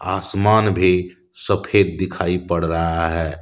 आसमान भी सफेद दिखाई पड़ रहा है।